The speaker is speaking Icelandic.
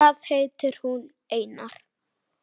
Hvað heitir hún, Einar?